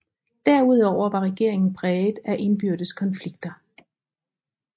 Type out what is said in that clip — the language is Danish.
Derudover var regeringen præget af indbyrdes konflikter